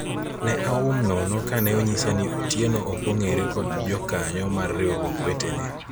ne aum nono kane onyisa ni Otieno ok ong'ere kod jokanyo mar riwruok wetene